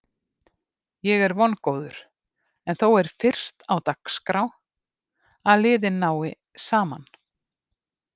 Ég er vongóður en þó er fyrst á dagskrá að liðin nái saman.